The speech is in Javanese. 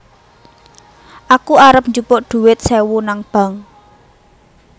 Aku arep njupuk dhuwit sewu nang bank